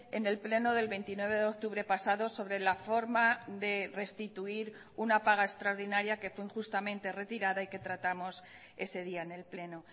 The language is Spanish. en el pleno del veintinueve de octubre pasado sobre la forma de restituir una paga extraordinaria que fue injustamente retirada y que tratamos ese día en el pleno